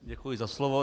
Děkuji za slovo.